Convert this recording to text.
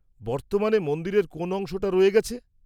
-বর্তমানে মন্দিরের কোন অংশটা রয়ে গেছে?